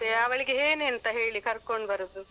ಮತ್ತೆ ಅವಳಿಗೆ ಏನಂತ ಹೇಳಿ ಕರ್ಕೊಂಡ್ ಬರುದ್.